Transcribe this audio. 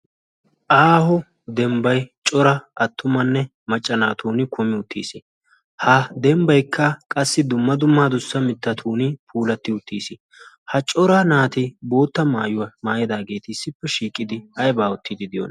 aaho dembbay cora attumanne macca naatun kumi uttiis ha dembbaykka qassi dumma dummaa dussa mittatun puulatti uttiis ha cora naati bootta maayuwaa maayadaageeti issippe shiiqidi haibaa uttiidi de'iyona